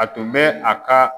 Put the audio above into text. A tun bɛ a ka